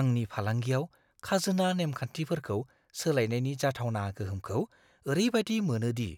आंनि फालांगियाव खाजोना नेमखान्थिफोरखौ सोलायनायनि जाथावना गोहोमखौ ओरैबादि मोनो दि